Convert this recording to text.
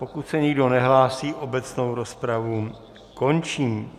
Pokud se nikdo nehlásí, obecnou rozpravu končím.